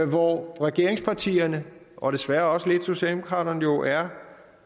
hvor regeringspartierne og desværre også lidt socialdemokraterne jo er